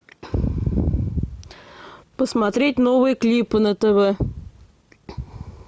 посмотреть новые клипы на тв